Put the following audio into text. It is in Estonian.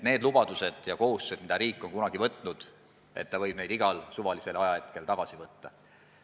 Kohustused, mis riik on kunagi võtnud, võidaks nagu igal suvalisel ajahetkel tagasi võtta.